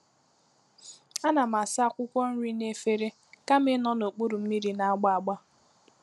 A na m asa akwụkwọ nri n'efere kama ịnọ n'okpuru mmiri na-agba agba.